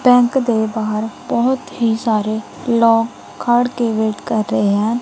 Bank ਦੇ ਬਾਹਰ ਬਹੁਤ ਹੀ ਸਾਰੇ ਲੋਗ ਖੜਕੇ ਵੈਟ ਕਰ ਰਹੇ ਹਨ।